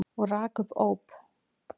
Og rak upp óp.